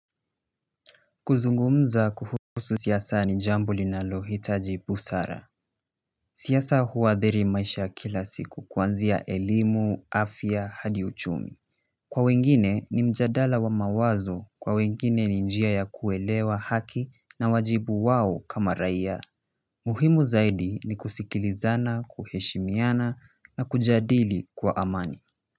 Kuzungumza kuhusu siasa ni jambo linalohitaji busara siasa huadhiri maisha ya kila siku kuanzia elimu, afya, hadi uchumi. Kwa wengine ni mjadala wa mawazo kwa wengine ni njia ya kuelewa haki na wajibu wao kama raia muhimu zaidi ni kusikilizana, kuheshimiana na kujadili kwa amani.